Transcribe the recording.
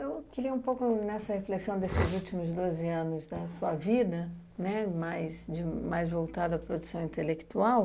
Eu queria um pouco nessa reflexão desses últimos doze anos da sua vida, mais, mais voltada à produção intelectual,